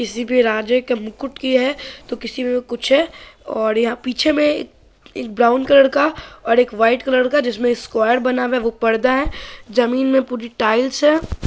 किसी मे राजा के मुकुट की है और किसी मे कुछ है और यहा पीछे मे एक ब्राउन कलर का और एक व्हाइट कलर जिसमे स्कुअर बना हुआ है। वो पर्दा है। जमीन मे पूरी टाइल्स है।